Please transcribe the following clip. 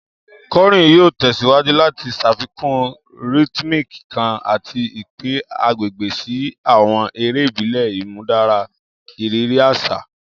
Kọrin yoo tẹsiwaju lati ṣafikun rhythmic kan ati ipin agbegbe si awọn ere ibile, imudara iriri aṣa.